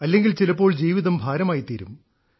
അല്ലെങ്കിൽ ചിലപ്പോൾ ജീവിതം ഭാരമായിത്തീരും